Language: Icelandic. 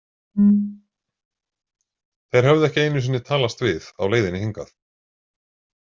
Þeir höfðu ekki einu sinni talast við á leiðinni hingað.